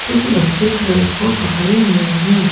कुछ बच्चे क्रोस को पकड़े हुए हैं।